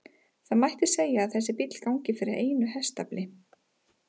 Það mætti segja að þessi bíll gangi fyrir einu hestafli.